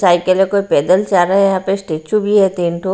Cycle है कोई पैदल जा रहा है यहां पे स्टैचू भी है तीन ठो।